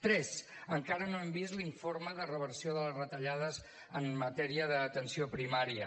tres encara no hem vist l’informe de reversió de les retallades en matèria d’atenció primària